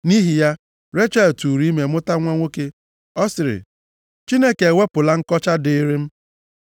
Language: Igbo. Nʼihi ya, Rechel tụụrụ ime mụta nwa nwoke. Ọ sịrị, “Chineke ewepụla nkọcha dịịrị m.”